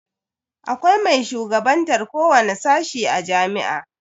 Akwai mai shugabantan kowani sashi na jami'a.